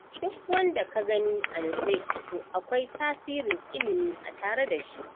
Duk wanda ka gani a nutse to akwai tasirin ilimi a tare da shi.